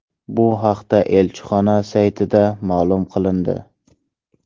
Bu haqda elchixona saytida ma’lum qilindi .